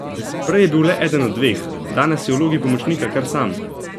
Prej je bil le eden od dveh, danes je v vlogi pomočnika kar sam!